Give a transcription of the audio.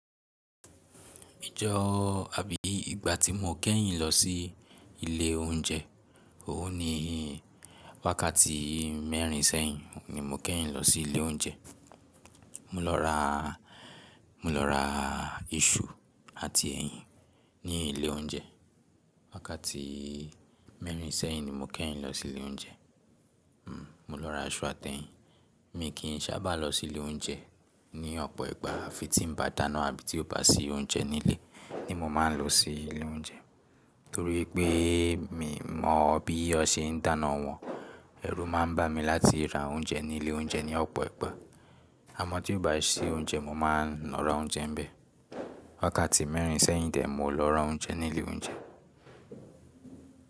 Ìje oh àbí ìgbà tí mo kẹ́yìn lọ sí ilé oúnjẹ, òun ni wákàtí mẹ́rin sẹ́yìn ni mo kẹ́yìn lọ sí ilé oúnjẹ. Mo lọ ra, mo lọ ra iṣu àti ẹyin ní ilé oúnjẹ. Wákàtí mẹ́rin sẹ́yìn ni mo kẹ́yìn lọ sí ilé oúnjẹ. Hmm, mo lọ ra iṣu àti ẹyin. Mi kì í sábà lọ sí ilé oúnjẹ ní ọ̀pọ̀ ìgbà afi tí n bá dáná àbí tí ó bá sí oúnjẹ nílé, ni mo máa ń lọ sí ilé oúnjẹ. Nítorí pé, mi mọ bí won ṣe ń dáná wọn. Ẹrú máa ń bà mí láti ra oúnjẹ ní ilé oúnjẹ ní ọ̀pọ̀ ìgbà. Àmọ́ tí ó bá sí oúnjẹ mo máa ń lọ ra oúnjẹ nbẹ́ẹ̀. Wákàtí mẹ́rin sẹ́yìn dè mó lọ ra oúnjẹ ní ilé oúnjẹ.